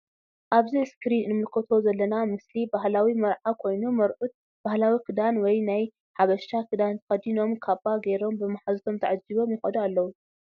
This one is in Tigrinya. ኣብዚ እስክሪን እንምልከቶ ዘለና ምስሊ ባህላዊ መርዓ ኮይኑ መርዑት ባህላዊ ክዳን ወይ ናይ ጃበሻ ክዳን ተከዲኖም ካባ ገይሮም ብምሓዙቶም ተዓጂቦም ይከዱ ኣለው።